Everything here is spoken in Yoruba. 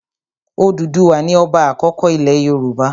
Òdùduwà ni ọba àkọ́kọ́ ilẹ̀ Yorùbá.